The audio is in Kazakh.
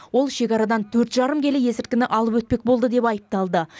ол шекарадан төрт жарым келі есірткіні алып өтпек болды деп айыпталды